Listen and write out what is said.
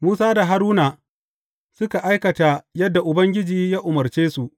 Musa da Haruna suka aikata yadda Ubangiji ya umarce su.